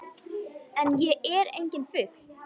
En ég er enginn fugl.